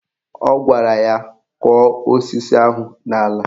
Ọ gwara ya " Kọ̀ọ́ osisi ahụ n'ala"